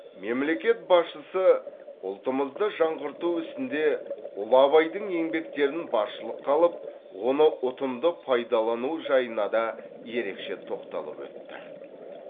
мемлекет басшысы ұлтымызды жаңғырту ісінде ұлы абайдың еңбектерін басшылыққа алып оны ұтымды пайдалану жайына да ерекше тоқталып өтті